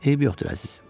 Eybi yoxdur əzizim.